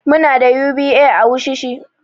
Muna da UBA a wushishi.